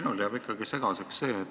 Minule jääb ikkagi üks asi segaseks.